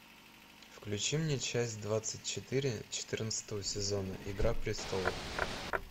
включи мне часть двадцать четыре четырнадцатого сезона игра престолов